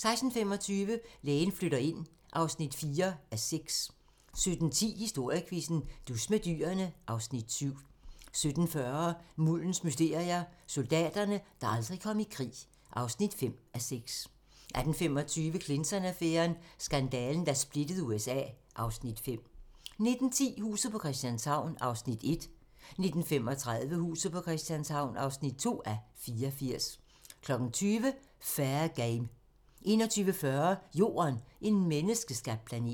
16:25: Lægen flytter ind (4:6) 17:10: Historiequizzen: Dus med dyrene (Afs. 7) 17:40: Muldens mysterier - Soldaterne, der aldrig kom i krig (5:6) 18:25: Clinton-affæren: Skandalen, der splittede USA (Afs. 5) 19:10: Huset på Christianshavn (1:84) 19:35: Huset på Christianshavn (2:84) 20:00: Fair Game 21:40: Jorden - en menneskeskabt planet